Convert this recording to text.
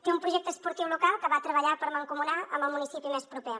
té un projecte esportiu local que va treballar per mancomunar amb el municipi més proper